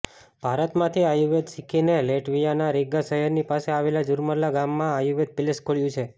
ભારતમાંથી આયુર્વેદ શીખીને લેટવિયાના રીગા શહેરની પાસે આવેલા જુર્મલા ગામમાં આયુર્વેદ પેલેસ ખોલ્યું છે